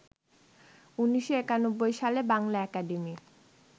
১৯৯১ সালে বাংলা একাডেমি